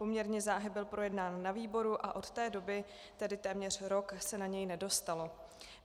Poměrně záhy byl projednán na výboru a od té doby, tedy téměř rok, se na něj nedostalo.